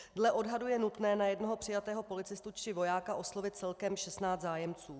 Dle odhadu je nutné na jednoho přijatého policistu či vojáka oslovit celkem 16 zájemců.